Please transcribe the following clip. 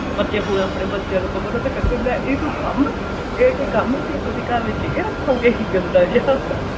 ਪਰ ਜੇ ਹੁਣ ਆਪਨੇ ਬੱਚਿਆ ਨੂੰ ਕਵੋ ਨਾ ਤਾਂ ਕਹਿਣਗੇ ਲੈ ਇਹ ਕੋਈ ਕੰਮ ਹੈ ਇਹ ਕੋਈ ਕੰਮ ਸੀ ਤੁਸੀਂ ਘਰ ਵਿੱਚ ਇਹ ਰੱਖੋਗੇ ਗੰਦਾ ਜਿਹਾ